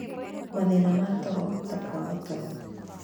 Mathĩna ma toro, ta kwaga toro,